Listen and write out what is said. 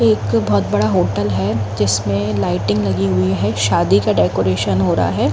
एक बहुत बड़ा होटल है। जिसमें लाइटिंग लगी हुई है। शादी का डेकोरेशन हो रहा है।